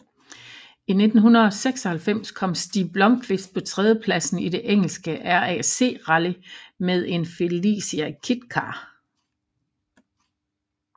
I 1996 kom Stig Blomqvist på tredjepladsen i det engelske RAC Rally med en Felicia Kit Car